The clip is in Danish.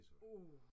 Uh!